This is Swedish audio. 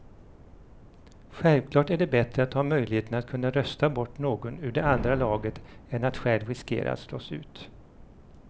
Självklart är det bättre att ha möjligheten att kunna rösta bort någon ur det andra laget än att själv riskera att slås ut.